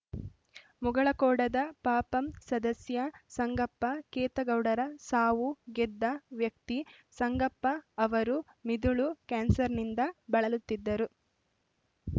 ಮುಗಳಖೋಡದ ಪಪಂ ಸದಸ್ಯ ಸಂಗಪ್ಪ ಖೇತಗೌಡರ ಸಾವು ಗೆದ್ದ ವ್ಯಕ್ತಿ ಸಂಗಪ್ಪ ಅವರು ಮಿದುಳು ಕ್ಯಾನ್ಸರ್‌ನಿಂದ ಬಳಲುತ್ತಿದ್ದರು